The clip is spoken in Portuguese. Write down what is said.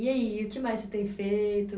E aí, o que mais você tem feito?